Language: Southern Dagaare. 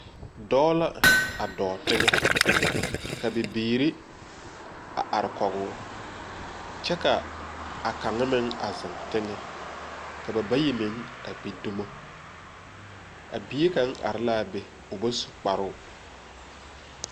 Dɔɔ la a dɔɔ teŋɛ, ka bibiiri a are kɔge o, kyɛ ka a kaŋa meŋ a zeŋ teŋɛ, ka ba bayi meŋ a gbi dumo. A bie kaŋa are la a be o bas u kparoo.